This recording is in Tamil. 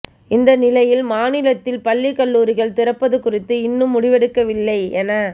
இந்நிலையில் மாநிலத்தில் பள்ளி கல்லூரிகள் திறப்பது குறித்து இன்னும் முடிவெடுக்கவில்லை என